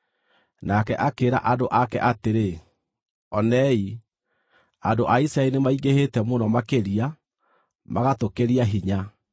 Nake akĩĩra andũ ake atĩrĩ, “Onei, andũ a Isiraeli nĩmaingĩhĩte mũno makĩria, magatũkĩria hinya.